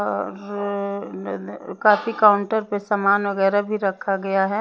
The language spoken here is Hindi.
काफी काउंटर पर सामान वगैरा भी रखा गया है।